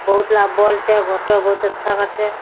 बहुत आ बल्ब छै फोटो बहुत अच्छा घर छै।